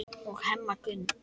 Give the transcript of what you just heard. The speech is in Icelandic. og Hemma Gunn.